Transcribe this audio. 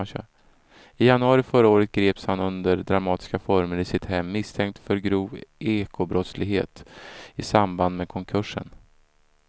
I januari förra året greps han under dramatiska former i sitt hem misstänkt för grov ekobrottslighet i samband med konkursen.